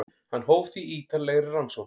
Hann hóf því ítarlegri rannsókn.